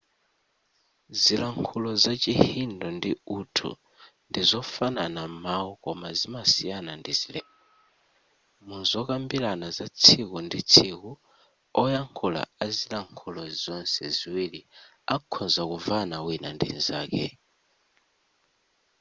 zilankhulo za chihindi ndi urdu ndi zofanana m'mawu koma zimasiyana ndi zilembo muzokambirana za tsiku ndi tsiku oyankhula a zilankhulo zonse ziwiri akhoza kumvana wina ndi nzake